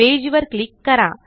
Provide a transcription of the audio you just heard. page वर click करा